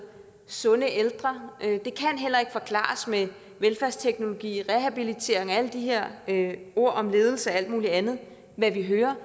sunde ældre det kan heller ikke forklares med velfærdsteknologi rehabilitering og alle de her ord om ledelse og alt muligt andet vi hører